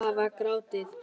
Það var grátið!